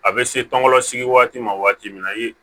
A bɛ se tɔn sigi waati ma waati min na